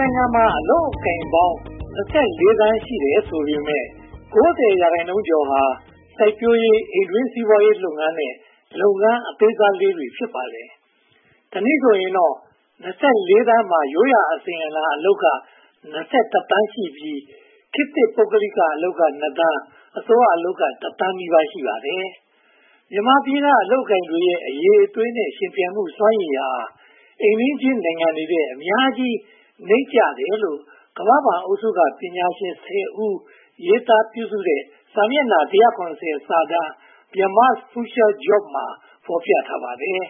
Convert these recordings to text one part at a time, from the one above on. နိုင်ငံမှာ အလုပ်အကိုင်ပေါင်း (၂၄) သန်း ရှိတယ်ဆိုပေမယ့် (၉၀) ရာခိုင်နှုန်းကျော်ဟာ စိုက်ပျိုးရေး၊ အိမ်တွင်းစီးပွားရေးလုပ်ငန်းနဲ့ လုပ်ငန်းအသေးစားလေးတွေ ဖြစ်ပါတယ်။ တနည်းဆိုရင်တော့ (၂၄) သန်းမှာ ရိုးရာအစဉ်အလာအလုပ်က (၂၁) သန်းရှိပြီး ခေတ်သစ် ပုဂ္ဂလိကအလုပ်က (၂) သန်း၊ အစိုးရအလုပ်က (၁) သန်းနီးပါး ရှိပါတယ်။ မြန်မာပြည်က အလုပ်အကိုင်တွေရဲ့ အရည်အသွေးနဲ့ ယှဉ်ပြိုင်မှုစွမ်းရည်ဟာ အိမ်နီးချင်းနိုင်ငံတွေထက် အများကြီးနိမ့်ကျတယ်လို့ ကမ္ဘာ့ဘဏ်အုပ်စုက ပညာရှင် (၁၀) ဦး ရေးသားပြုစုတဲ့ စာမျက်နှာ (၁၇၀) စာတမ်း Myanmar’s Future Jobs မှာ ဖော်ပြထားပါတယ်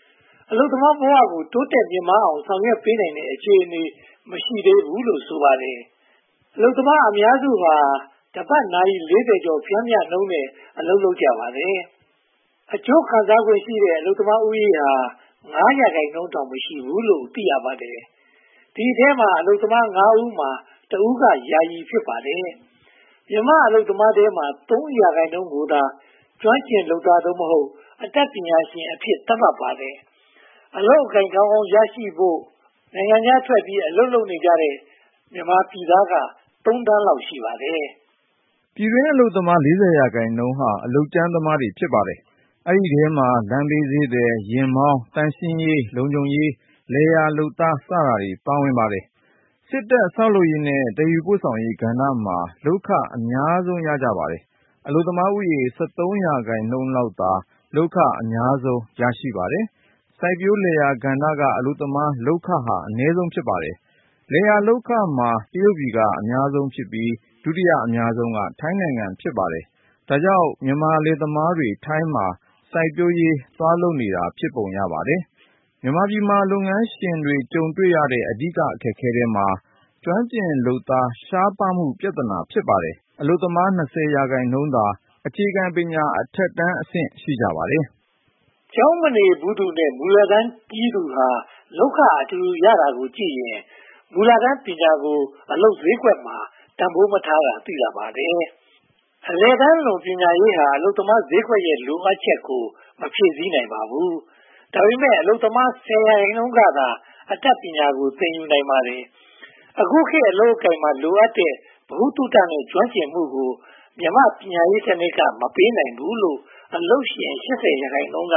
။ အလုပ်သမားဘဝကို တိုးတက်မြင့်မားလာအောင် ဆောင်ရွက်ပေးနိုင်တဲ့ အခြေအနေ မရှိသေးဘူးလို့ ဆိုပါတယ်။ အလုပ်သမားအများစုဟာ တပတ်နာရီ (၄၀) ကျော် ပျမ်းမျှနှုန်းနဲ့ အလုပ်လုပ်ကြပါတယ်။ အကျိုးခံစားခွင့်ရှိတဲ့ အလုပ်သမားဦးရေဟာ (၅) ရာခိုင်နှုန်းတောင် မရှိဘူးလို့ သိရပါတယ်။ ဒီအထဲမှာ အလုပ်သမား (၅) ဦးမှာ တဦးက ယာယီ ဖြစ်ပါတယ်။ မြန်မာအလုပ်သမားထဲမှာ (၃) ရာခိုင်နှုန်းကိုသာ ကျွမ်းကျင်လုပ်သား (သို့မဟုတ်) အတတ်ပညာရှင်အဖြစ် သတ်မှတ်ထားပါတယ်။ အလုပ်အကိုင် ကောင်းကောင်းရရှိနိုင်ဖို့အတွက် နိုင်ငံခြားထွက်ပြီး အလုပ်လုပ်နေတဲ့ မြန်မာပြည်သားက (၃) သန်းလောက် ရှိပါတယ်။ ပြည်တွင်းအလုပ်သမား (၄၀) ရာခိုင်နှုန်းဟာ အလုပ်ကြမ်းသမား ဖြစ်ပါတယ်။ ဒီအထဲမှာ လမ်းဘေးဈေးသည်၊ ယာဉ်မောင်း၊ သန့်ရှင်းရေး၊ လုံခြုံရေး၊ လယ်ယာလုပ်သား စသည်တို့ ပါဝင်ပါတယ်။ စစ်တပ်၊ ဆောက်လုပ်ရေးနဲ့ သယ်ယူပို့ဆောင်ရေးကဏ္ဍမှာ လုပ်ခအများဆုံး ရကြပါတယ်။ အလုပ်သမားဦးရေ (၁၃) ရာခိုင်နှုန်းလောက်သာ လုပ်ခ အများဆုံး ရကြပါတယ်။ စိုက်ပျိုးလယ်ယာကဏ္ဍက အလုပ်သမားလုပ်ခဟာ အနည်းဆုံး ဖြစ်ပါတယ်။ လယ်ယာလုပ်ခမှာ တရုတ်ပြည်က အများဆုံးဖြစ်ပြီး၊ ဒုတိယအများဆုံးက ထိုင်းနိုင်ငံ ဖြစ်ပါတယ်။ ဒါကြောင့် မြန်မာလယ်သမားတွေ ထိုင်းမှာ စိုက်ပျိုးရေးလုပ်နေတာ ဖြစ်ပုံရပါတယ်။ မြန်မာပြည်မှာ လုပ်ငန်းရှင်တွေ ကြုံတွေ့နေရတဲ့ အဓိက အခက်အခဲထဲမှာ ကျွမ်းကျင်လုပ်သား ရှားပါးမှုလည်း ပါဝင်ပါတယ်။ အလုပ်သမား (၂၀) ရာခိုင်နှုန်းသာ အခြေခံပညာအထက်တန်း ရှိပါတယ်။ ကျောင်းမနေဘူးသူနဲ့ မူလတန်းပြီးသူဟာ လုပ်ခအတူတူ ရကြတာကိုကြည့်ရင် မူလတန်းပညာကို အလုပ်ဈေးကွက်မှာ တန်းဖိုးမထားတာ သိသာပါတယ်။ အလယ်တန်းလွန် ပညာရေးဟာလည်း အလုပ်သမားဈေးကွက်ရဲ့ လိုအပ်ချက်ကို မဖြည့်ဆည်းနိုင်ပါဘူး။ ဒါပေမဲ့ အလုပ်သမား (၁၀) ရာခိုင်နှုန်းကသာ အတတ်ပညာကို သင်ယူနိုင်ပါတယ်။ အခုခေတ် အလုပ်အကိုင်မှာ လိုအပ်နေတဲ့ ဗဟုသုတနဲ့ ကျွမ်းကျင်မှုကို မြန်မာ့ပညာရေးစနစ်က မပေးနိုင်ဘူးလို့ အလုပ်ရှင် (၈၀) ရာခိုင်နှုန်းက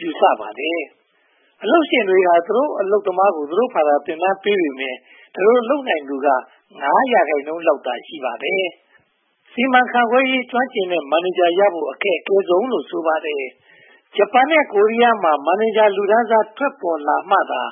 ယူဆပါတယ်။ အလုပ်ရှင်တွေဟာ သူတို့အလုပ်သမားကို သူတို့ဘာသာ သင်တန်းပေးနေပေမယ့် ဒီလိုလုပ်နိုင်သူက (၅) ရာခိုင်နှုန်းလောက်သာ ရှိပါတယ်။ စီမံခန့်ခွဲရေး ကျွမ်းကျင်တဲ့မန်နေဂျာကိုရဖို့ အခက်ခဲဆုံးလို့ ဆိုပါတယ်။ ဂျပန်နဲ့ ကိုရီးယားမှာလို မန်နေဂျာလူတန်းစား ထွက်ပေါ်လာမှသာ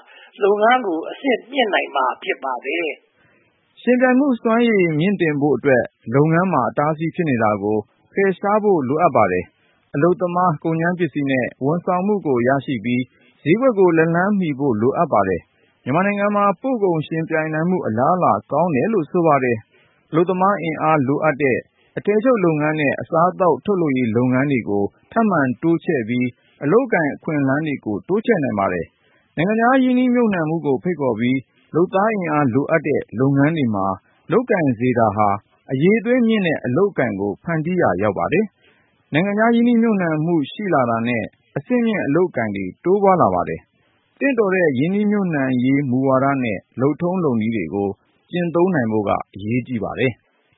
လုပ်ငန်းကို အဆင့်မြင့်နိုင်မှာ ဖြစ်ပါတယ်။ ယှဉ်ပြိုင်မှုစွမ်းရည် မြှင့်တင်ဖို့အတွက် လုပ်ငန်းတွေမှာ အတားအဆီး ဖြစ်နေတာကို ဖယ်ရှားဖို့ လိုပါတယ်။ အလုပ်သမား၊ ကုန်ကြမ်းပစ္စည်းနဲ့ ဝန်ဆောင်မှုတွေကို ရရှိပြီး၊ ဈေးကွက်ကို လက်လှမ်းမီဖို့ လိုအပ်ပါတယ်။ မြန်မာနိုင်ငံမှာ ပို့ကုန်ယှဉ်ပြိုင်နိုင်မှု အလားအလာ ကောင်းတယ်လို့ ဆိုပါတယ်။ အလုပ်သမားအင်အားလိုအပ်တဲ့ အထည်ချုပ်နဲ့ အစားအသောက် ထုတ်လုပ်ရေးလုပ်ငန်းတွေကို ထပ်မံတိုးချဲ့ပြီး အလုပ်အကိုင် အခွင့်အလမ်းတွေ တိုးချဲ့နိုင်ပါတယ်။ နိုင်ငံခြားရင်းနှီးမြုပ်နံှမှုကို ဖိတ်ခေါ်ပြီး လုပ်သားအင်အား လိုအပ်တဲ့ လုပ်ငန်းတွေမှာ လုပ်ကိုင်စေတာဟာ အရည်အသွေးမြင့်တဲ့ အလုပ်အကိုင်ကို ဖန်တီးရာ ရောက်ပါတယ်။ နိုင်ငံခြားရင်းနှီးမြုပ်နံှမှု ရှိလာတာနဲ့ အဆင့်မြင့် အလုပ်အကိုင်တွေ တိုးပွားလာပါတယ်။ သင့်တော်တဲ့ ရင်းနှီးမြုပ်နံှရေးဝါဒနဲ့ လုပ်ထုံးလုပ်နည်းတွေကို ကျင့်သုံးနိုင်ဖို့ အရေးကြီးပါတယ်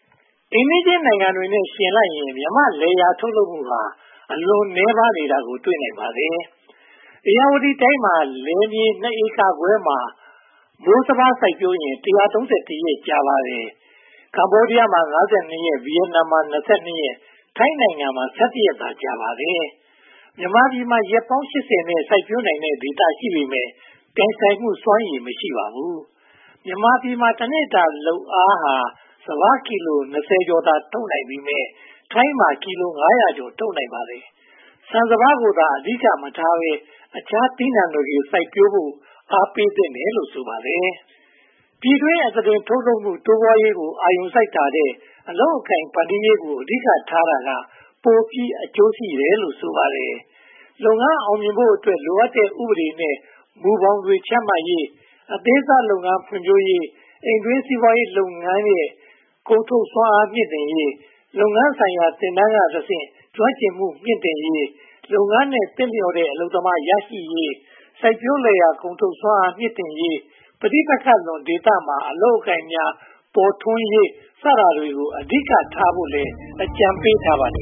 ။ အိမ်နီးချင်းနိုင်ငံတွေနဲ့ ယှဉ်လိုက်ရင် မြန်မာ့လယ်ယာထုတ်လုပ်မှုဟာ အလွန်နည်းပါးနေတာကို တွေ့နိုင်ပါတယ်။ ဧရာဝတီတိုင်းမှာ လယ်မြေ (၂) ဧကခွဲမှာ မိုးစပါး စိုက်ပျိုးရင် (၁၃၁) ရက် ကြာပါတယ်။ ကမ္ဘောဒီးယားမှာ (၅၂) ရက်၊ ဗိယက်နမ်မှာ (၂၂)၊ ထိုင်းနိုင်ငံမှာ (၁၁) ရက်သာ ကြာပါတယ်။ မြန်မာပြည်မှာ ရက်ပေါင်း (၈၀) နဲ့ စိုက်ပျိုးနိုင်တဲ့ ဒေသ ရှိပေမယ့် ပြိုင်ဆိုင်မှုစွမ်းရည် မရှိပါဘူး။ မြန်မာပြည်မှာ တနေ့တာလုပ်အားက စပါးကီလို (၂၀) ကျော်သာ ထုတ်နိုင်ပေမယ့် ထိုင်းမှာ ကီလို (၅၀၀) ကျော် ထုတ်နိုင်ပါတယ်။ ဆန်စပါးကိုသာ အဓိက မထားဘဲ၊ အခြားသီးနံှတွေကိုသာ စိုက်ပျိုးဖို့ အားပေးသင့်တယ်လို့ ဆိုပါတယ်။ ပြည်တွင်းအသားတင် ထုတ်လုပ်မှု တိုးပွားရေးကို အာရုံစိုက်တာထက် အလုပ်အကိုင် ဖန်တီးရေးကို အဓိကထားတာက ပိုပြီးအကျိုးရှိတယ်လို့ ဆိုပါတယ်။ လုပ်ငန်းအောင်မြင်ဖို့အတွက် လိုအပ်တဲ့ ဥပဒေနဲ့ မူဘောင်တွေ ချမှတ်ပေးရေး၊ အသေးစားလုပ်ငန်း ဖွံ့ဖြိုးရေး၊ အိမ်တွင်းစီးပွားရေးလုပ်ငန်းရဲ့ ကုန်ထုတ်စွမ်းအားမြှင့်တင်ရေး၊ လုပ်ငန်းဆိုင်ရာ သင်တန်းကတဆင့် ကျွမ်းကျင်မှုမြှင့်တင်ရေး၊ လုပ်ငန်းနဲ့ သင့်လျော်တဲ့ အလုပ်သမား ရရှိရေး၊ စိုက်ပျိုးလယ်ယာ ကုန်ထုတ်စွမ်းအားမြှင့်တင်ရေး၊ ပဋိပက္ခလွန် ဒေသတွေမှာ အလုပ်အကိုင်များ ပေါ်ထွန်းလာရေး စသည်တို့ကို အဓိကထားဖို့ အကြံပေးထားပါတယ်